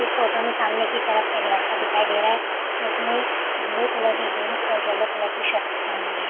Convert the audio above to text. इस फोटो में सामने की तरफ एक लड़का दिखाई दे रहा है इसने ब्लू कलर की जीन्स येलो कलर की शर्ट पहनी हुई है।